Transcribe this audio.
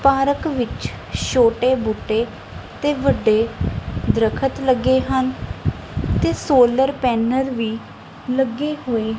park ਵਿੱਚ ਛੋਟੇ ਬੂਟੇ ਤੇ ਵੱਡੇ ਦਰਖਤ ਲੱਗੇ ਹਨ ਤੇ ਸੋਲਰ ਪੈਨਲ ਵੀ ਲੱਗੇ ਹੋਏ--